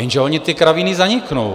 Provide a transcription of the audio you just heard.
Jenže ony ty kravíny zaniknou.